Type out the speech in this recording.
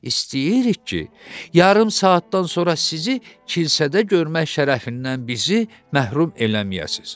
İstəyirik ki, yarım saatdan sonra sizi kilsədə görmək şərəfindən bizi məhrum eləməyəsiz.”